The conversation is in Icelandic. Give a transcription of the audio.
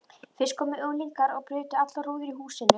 Fyrst komu unglingar og brutu allar rúður í húsinu.